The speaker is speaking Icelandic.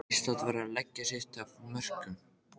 Ísland verður að leggja sitt af mörkum